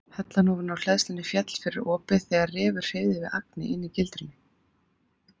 Hellan ofan á hleðslunni féll fyrir opið þegar refur hreyfði við agni inni í gildrunni.